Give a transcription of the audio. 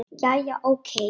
Jæja, ókei.